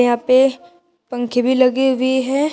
यहां पे पंखे भी लगे हुए है।